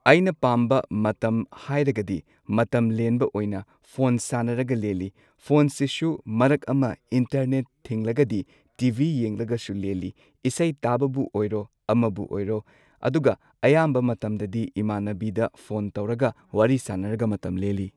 ꯑꯩꯅ ꯄꯥꯝꯕ ꯃꯇꯝ ꯍꯥꯏꯔꯒꯗꯤ ꯃꯇꯝ ꯂꯦꯟꯕ ꯑꯣꯏꯅ ꯐꯣꯟ ꯁꯥꯅꯔꯒ ꯂꯦꯜꯂꯤ꯫ ꯐꯣꯟꯁꯤꯁꯨ ꯃꯔꯛ ꯑꯃ ꯏꯟꯇꯔꯅꯦꯠ ꯊꯤꯡꯂꯒꯗꯤ ꯇꯤ ꯕꯤ ꯌꯦꯡꯂꯒꯁꯨ ꯂꯦꯜꯂꯤ꯫ ꯏꯁꯩ ꯇꯥꯕꯕꯨ ꯑꯣꯏꯔꯣ ꯑꯃꯕꯨ ꯑꯣꯏꯔꯣ ꯑꯗꯨꯒ ꯑꯌꯥꯝꯕ ꯃꯇꯝꯗꯗꯤ ꯏꯃꯥꯟꯅꯕꯤꯗ ꯐꯣꯟ ꯇꯧꯔꯒ ꯋꯥꯔꯤ ꯁꯥꯅꯔꯒ ꯃꯇꯝ ꯂꯦꯜꯂꯤ꯫